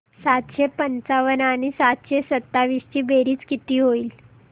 सातशे पंचावन्न आणि सातशे सत्तावीस ची बेरीज किती होईल